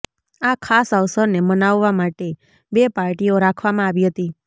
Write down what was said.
આ ખાસ અવસર ને મનાવવા માટે બે પાર્ટીઓ રાખવામાં આવી હતી